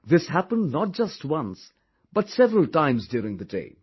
This happened not just once but several times during the day